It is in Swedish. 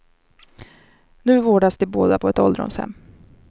Nu vårdas de båda på ett ålderdomshem.